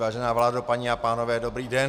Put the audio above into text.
Vážená vládo, paní a pánové, dobrý den.